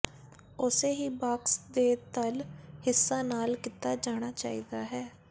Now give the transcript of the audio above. ਉਸੇ ਹੀ ਬਾਕਸ ਦੇ ਤਲ ਹਿੱਸਾ ਨਾਲ ਕੀਤਾ ਜਾਣਾ ਚਾਹੀਦਾ ਹੈ